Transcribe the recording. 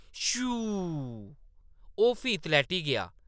शूंऽऽऽ ! ओह्‌‌ फ्ही तलैह्‌टी गेआ ।